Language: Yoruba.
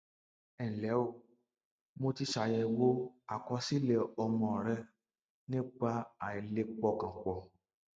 ẹ ǹlẹ o mo ti ṣàyẹwò àkọsílẹ ọmọ rẹ nípa àìlè pọkàn pọ